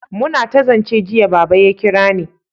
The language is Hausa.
muna ta zance jiya, Baba ya kirani